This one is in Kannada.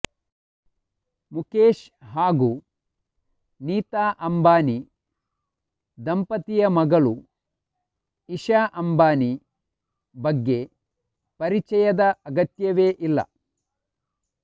ಮುಕೇಶ್ ಹಾಗೂ ನೀತಾ ಅಂಬಾನಿ ದಂಪತಿಯ ಮಗಳು ಇಶಾ ಅಂಬಾನಿ ಬಗ್ಗೆ ಪರಿಚಯದ ಅಗತ್ಯವೇ ಇಲ್ಲ